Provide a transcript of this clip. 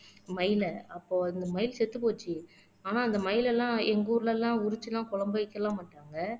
மயில அப்போ அந்த மயில் செத்துப் போச்சு ஆனா அந்த மயிலெல்லாம் எங்க ஊர்ல எல்லாம் உறிச்சு எல்லாம் குழம்ப வைக்க எல்லாம் மாட்டாங்க